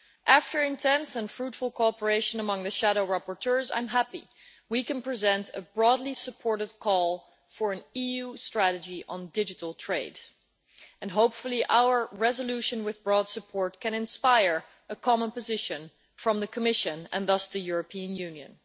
After intense and fruitful cooperation among the shadow rapporteurs, I am happy that we can present a broadly supported call for an EU strategy on digital trade, and hopefully our resolution with broad support can inspire a common position from the Commission and thus the European Union.